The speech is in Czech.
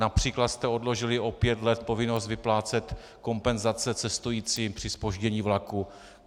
Například jste odložili o pět let povinnost vyplácet kompenzace cestujícím při zpoždění vlaku.